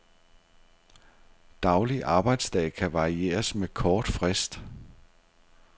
Daglig arbejdsdag kan varieres med kort frist.